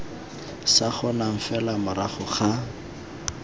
sa kgonang fela morago ga